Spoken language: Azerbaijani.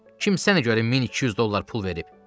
Kim səni görə mən 200 dollar pul verib?